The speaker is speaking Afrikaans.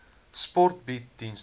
sport bied dienste